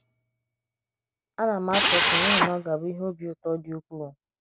Ana m achị ọchị n’ihi na ọ ga - abụ ihe obi ụtọ dị ukwụụ